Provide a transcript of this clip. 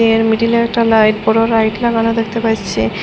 এর মিডিলে একটা লাইট বড় লাইট লাগানো দেখতে পাইরছি।